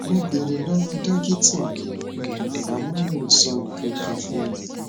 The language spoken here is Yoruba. mo béèrè lọwọ dókítà mi um àmọ wọn ò sọ nǹkan kan fún mi